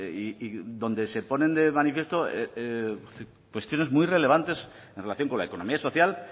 y donde se ponen de manifiesto cuestiones muy relevantes en relación con la economía social